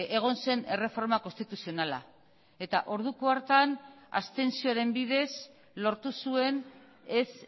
egon zen erreforma konstituzionala eta orduko hartan abstentzioaren bidez lortu zuen ez